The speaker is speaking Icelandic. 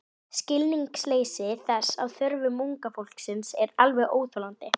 Skilningsleysi þess á þörfum unga fólksins er alveg óþolandi.